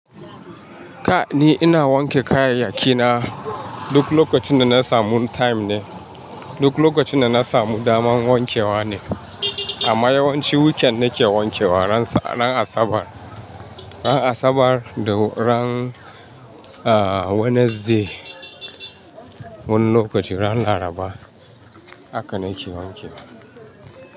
Kai ni ina wanke kayayyakina duk lokacin da na samu time ne, duk lokacin da na samu damar wankewa ne. Amma yawanci weekend nake wanke wa, ran Asabar, ran Asabar da ran, Wednesday wani lokaci ran Laraba haka nake wanke wa.